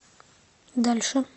дальше